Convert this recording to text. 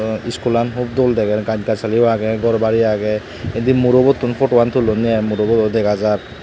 dw iskulan hup dol deger gaj gassalio agey gor bari agey indi murobottun poto an tullonney i muroboyo dega jar.